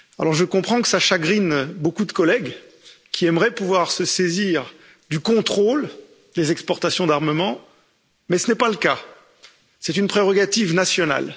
Je comprends que cela chagrine beaucoup de collègues qui aimeraient pouvoir se saisir du contrôle des exportations d'armement mais ce n'est pas le cas, c'est une prérogative nationale.